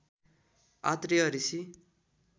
Atreya Rishi